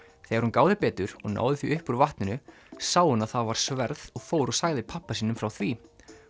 þegar hún gáði betur og náði því upp úr vatninu sá hún að var sverð og fór og sagði pabba sínum frá því